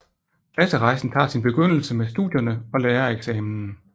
Klasserejsen tager sin begyndelse med studierne og lærereksamen